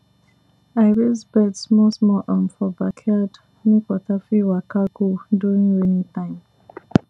i raise bed small small um for backyard make water fit waka go during rainy time